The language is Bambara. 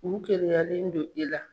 U keleyalen do i la.